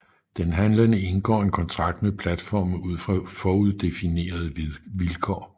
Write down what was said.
Den handlende indgår en kontrakt med platformen ud fra foruddefinerede vilkår